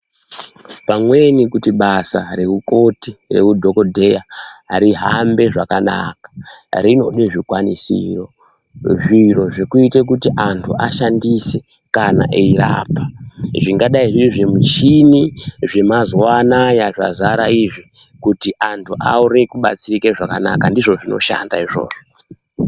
Pamweni kuti basa reukoti, reudhokodheya rihambe zvakanaka rinode zvikwanisiro zviro zvekuite kuti anthu ashandise kana eirapa, zvingadai zviri zvimichini zvemazuwa anaya zvazara izvi kuti anthu aone kubatsirika zvakanaka, ndizvo zvinoshanda izvozvo.